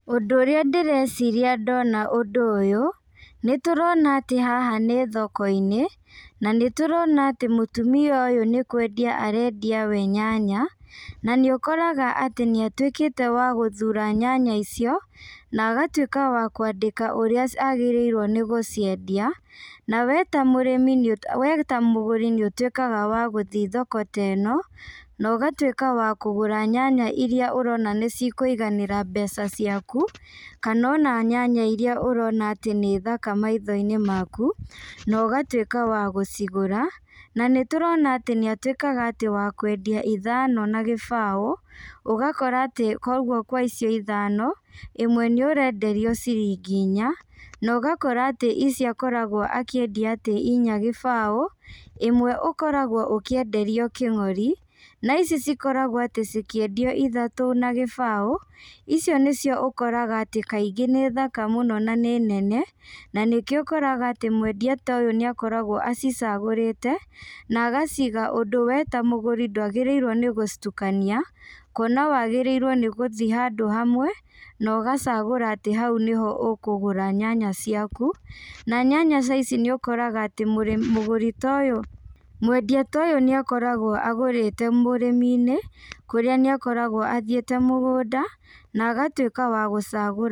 Ũndũ ũrĩa ndĩreciria ndona ũndũ ũyũ, nĩtũrona atĩ haha nĩ thokoinĩ, na nĩtũrona atĩ mũtumia ũyũ nĩkwendia arendia we nyanya, na nĩũkoraga atĩ nĩatuĩkĩte wa gũthura nyanya icio, na agatuĩka wa kwandĩka ũrĩa agĩrĩirwo nĩgũciendia, na we ta mũrĩmi nĩũ we ta mũgũri nĩũtuĩkaga wa gũthi thoko ta ĩno, na ũgatuĩka wakũgũra nyanya iria ũrona nĩcikũiganĩra mbeca ciaku, kana ona nyanya iria ũrona atĩ nĩ thaka maithoinĩ maku, na ũgatuĩka wa gũcigũra, na nĩtũrona atĩ nĩatuĩkaga atĩ wa kwendia ithano na gĩbaũ, ũgakora atĩ koguo kwa icio ithano, ĩmwe nĩũrenderio ciringi inya, na ũgakora atĩ icio akoragwo akĩendia atĩ inya gĩbaũ, ĩmwe ũkoragwo ũkĩenderio kĩng'ori, na ici cikoragwo atĩ cikĩendio iyhatũ na gĩbaũ, icio nĩcio ũkoraga atĩ kaingĩ nĩ thaka mũno na nĩ nene, na nĩkĩo ũkoraga atĩ mwendia ta ũyũ nĩakoragwo acicagũrĩte, na agaciga ũndũ we ta mũgũri ndwagĩrĩirwo nĩgũcitukania, kuona wagĩrĩirwo nĩgũthi handũ hamwe, na ũgacagũra atĩ hau nĩho ũkũgũra nyanya ciaku, na nyanya ta ici nĩũkoraga atĩ mũrĩmi mũgũri ta ũyũ mwendia ta ũyũ nĩakoragwo agũrĩte mũrĩminĩ, kũrĩa nĩakoragwo athiĩte mũgũnda, na agatuĩka wa gũcagũra.